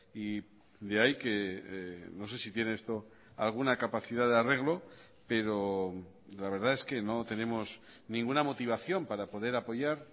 y de ahí que no sé si tiene esto alguna capacidad de arreglo pero la verdad es que no tenemos ninguna motivación para poder apoyar